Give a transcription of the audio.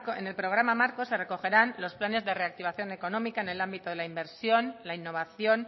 en el programa marco se recogerán los planes de reactivación económica en el ámbito de la inversión la innovación